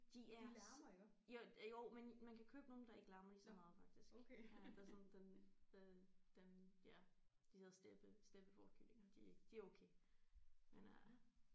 De er så jo jo men man kan købe nogle der ikke larmer ligeså meget faktisk der sådan den øh dem ja de hedder steppe steppefårekyllinger de er ikke de er okay men øh